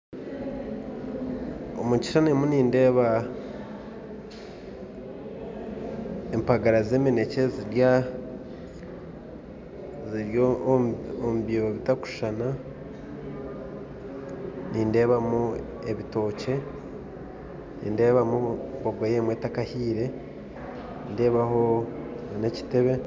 Omu kishushani ndimu nindeeba empagara z'eminekye ziri omu biibo bitakushushana, nindeebamu ebitookye, nindeebamu bogoya emwe etakahiire, nindeebaho na n'ekitebe.